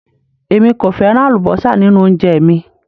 Èmi kò fẹ́ràn àlúbósà nínú oúnjẹ mi